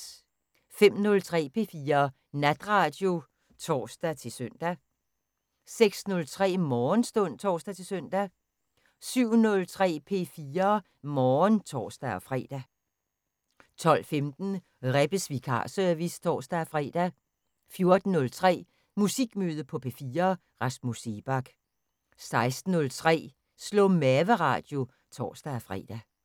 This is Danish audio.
05:03: P4 Natradio (tor-søn) 06:03: Morgenstund (tor-søn) 07:03: P4 Morgen (tor-fre) 12:15: Rebbes vikarservice (tor-fre) 14:03: Musikmøde på P4: Rasmus Seebach 16:03: Slå-mave-radio (tor-fre)